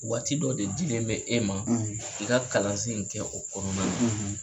Waati dɔ de dilen bɛ e ma i ka kalansen in kɛ o kɔnɔna la.